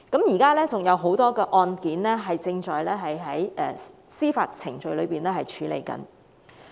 現時還有很多案件正在司法程序處理中。